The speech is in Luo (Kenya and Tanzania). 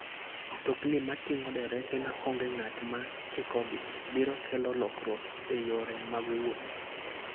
Mtokni mating'o derepe maonge ng'at ma chikogi, biro kelo lokruok e yore mag wuoth.